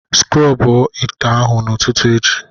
Sikrob ite ahụ n'ụtụtụ echi